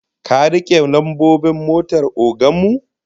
Ka rike lambobin motar ogan mu?